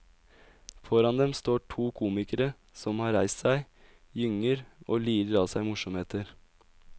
Foran dem står to komikere som har reist seg, gynger og lirer av seg morsomheter.